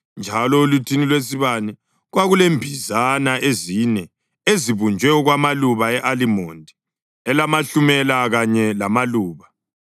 Njalo oluthini lwesibane kwakulembizana ezine ezibunjwe okwamaluba e-alimondi elamahlumela kanye lamaluba.